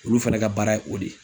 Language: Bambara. Olu fana ka baara ye o de ye.